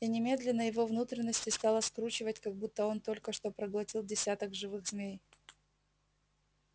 и немедленно его внутренности стало скручивать как будто он только что проглотил десяток живых змей